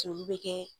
Joli bɛ kɛ